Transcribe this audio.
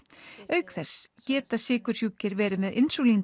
auk þess geta sykursjúkir verið með